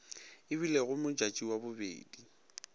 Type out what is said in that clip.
e bilego modjadji wa bobedi